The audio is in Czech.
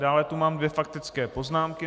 Dále tu mám dvě faktické poznámky.